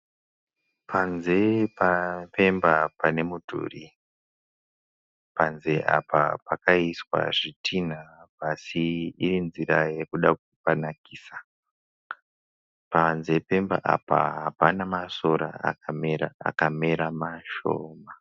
Panze Pemba pane mudhuri panze apa pakaiswa zvidhina así iri nzira yekuda kupanakisa. Panze Pemba apa hapana masora akamera akawanda, akamera mashoma.